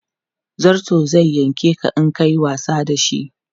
Zarto zai yanke ka in ka yi wasa da shi.